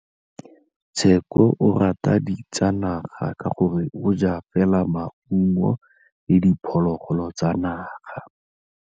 Tshekô o rata ditsanaga ka gore o ja fela maungo le diphologolo tsa naga.